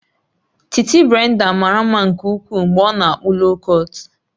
Titi Brenda mara mma nke ukwuu mgbe ọ na-akpụ loo kọt